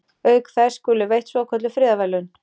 Auk þess skulu veitt svokölluð friðarverðlaun.